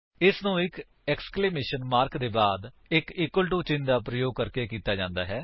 ਇਸ ਨੂੰ ਇੱਕ ਏਕਸਕਲੇਮੇਸ਼ਨ ਮਾਰਕ ਦੇ ਬਾਅਦ ਇੱਕ ਇਕਵਲ ਟੂ ਚਿੰਨ੍ਹ ਦਾ ਪ੍ਰਯੋਗ ਕਰਕੇ ਕੀਤਾ ਜਾਂਦਾ ਹੈ